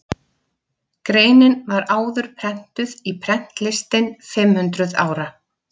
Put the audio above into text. Greinin var áður prentuð í Prentlistin fimm hundruð ára.